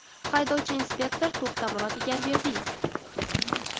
Haydovchi-inspektor To‘xtamurod Egamberdiyev.